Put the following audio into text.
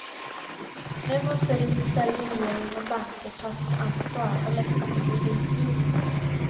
Nu måste riksdag, regering och banker ta sitt ansvar och lätta på kreditgivningen.